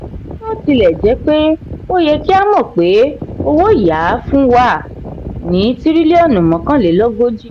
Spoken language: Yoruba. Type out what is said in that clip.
bòtilèjépé o ye kí a mọ pé owo-ya fún wa ní tiriliọnu mẹ́kànlélógójì